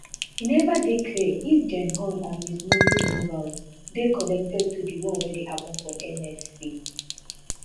e neva dey clear if gen haugh and ms noble removals dey connected to di one wey happun for nsc